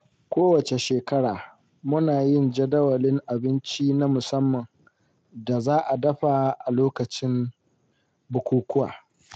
Kowacce shekara muna yin jadawalin abinci na musamman da za'a dafa a lokacin bukukuwa.